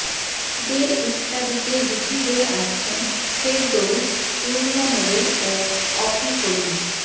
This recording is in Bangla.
ঈদের ইত্যাদিতে জুটি হয়ে আসছেন ফেরদৌস পূর্ণিমা নোবেল ও অপি করিম